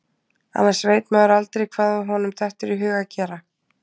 Annars veit maður aldrei hvað honum dettur í hug að gera.